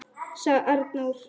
., sagði Arnór.